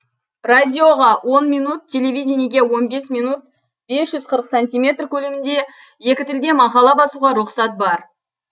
радиоға он минут телевидениеге он бес минут бес жүз қырық сантиметр көлемінде екі тілде мақала басуға рұқсат бар